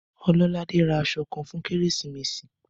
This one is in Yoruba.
Ọlọ́ládé ra aṣọ kan fún Kérésìmesì.